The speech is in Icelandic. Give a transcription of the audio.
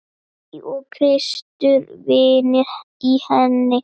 Og Kristur vinnur í henni.